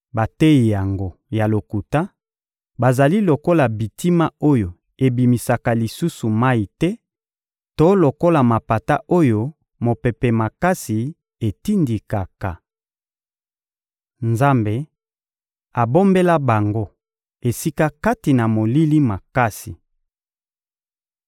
Bateyi yango ya lokuta bazali lokola bitima oyo ebimisaka lisusu mayi te to lokola mapata oyo mopepe makasi etindikaka. Nzambe abombela bango esika kati na molili makasi.